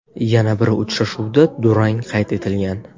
Yana bir uchrashuvda durang qayd etilgan.